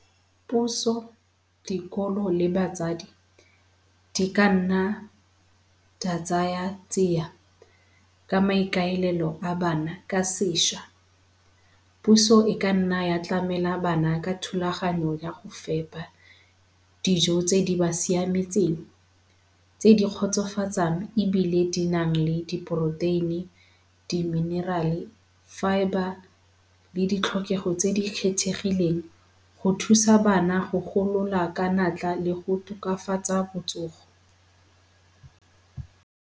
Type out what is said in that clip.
Puso, dikolo le batsadi di ka nna di a tsaya tsia ka maikaelelo a bana ka sešwa. Puso e ka nna ya tlamela bana ka thulaganyo ya go fepa dijo tse di ba siametseng, tse di kgotsofatsang ebile di nang le di-protein-e, di-mineral-e, fibre le ditlhokego tse di kgethegileng go thusa bana go golola ka natla le go tokafatsa botsogo.